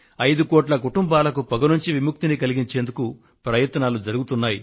5 కోట్ల కుటుంబాలకు పొగ నుండి విముక్తిని కలిగించేందుకు ప్రయత్నాలు జరుగుతున్నాయి